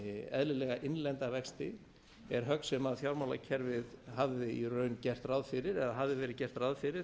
eðlilega innlenda vexti er högg sem fjármálakerfið hafði í raun gert ráð fyrir eða hafði verið gert ráð fyrir